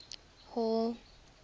hall